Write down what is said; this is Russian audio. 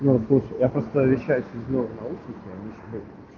я поставил счастье